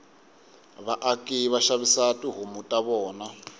vaaki vashavisa tihhomu tavona